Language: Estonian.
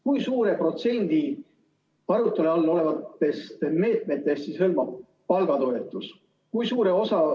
Kui suure protsendi arutuse all olevatest meetmetest hõlmab palgatoetus?